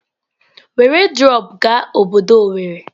Were drọpụ gaa obodo owerri!